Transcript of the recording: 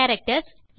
characters